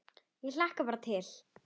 Ég hlakka bara til.